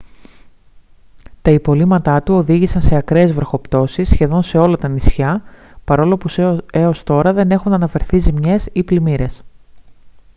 τα υπολείμματά του οδήγησαν σε ακραίες βροχοπτώσεις σχεδόν σε όλα τα νησιά παρόλο που έως τώρα δεν έχουν αναφερθεί ζημιές ή πλημμύρες